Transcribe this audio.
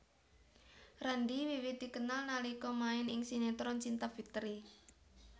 Randy wiwit dikenal nalika main ing sinetron Cinta Fitri